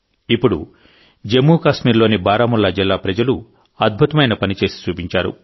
ఇప్పుడు జమ్మూ కాశ్మీర్లోని బారాముల్లా జిల్లా ప్రజలు అద్భుతమైన పని చేసి చూపించారు